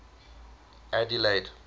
adelaide